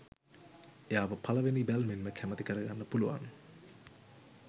එයාව පලවෙනි බැල්මෙන්ම කැමති කරගන්න පුළුවන්